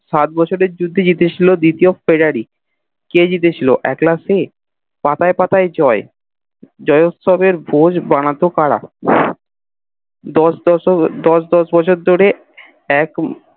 সাত বছরের যুদ্ধে জিতেছিল দিতিয়েস তিবাড়ি কে জিতেছিল একলা সে পাতায় পাতায় জয় জয়তসসব এর ভোজ বানাত কারা দশ দশশ দশ দশ বছর ধরে এক